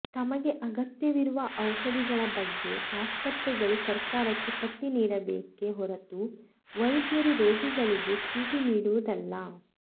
ತಮಗೆ ಅಗತ್ಯವಿರುವ ಔಷಧಿಗಳ ಬಗ್ಗೆ ಆಸ್ಪತ್ರೆಗಳು ಸರ್ಕಾರಕ್ಕೆ ಪಟ್ಟಿ ನೀಡಬೇಕೆ ಹೊರತು ವೈದ್ಯರು ರೋಗಿಗಳಿಗೆ ಚೀಟಿ ನೀಡುವುದಲ್ಲ